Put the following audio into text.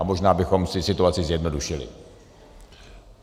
A možná bychom si situaci zjednodušili.